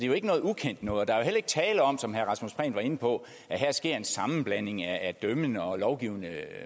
jo ikke noget ukendt noget og der er jo heller ikke tale om som herre rasmus prehn var inde på at her sker en sammenblanding af dømmende og lovgivende